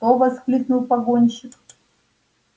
что вскрикнул погонщик